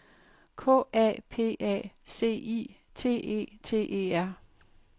K A P A C I T E T E R